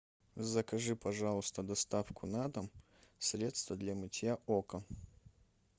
закажи пожалуйста доставку на дом средство для мытья окон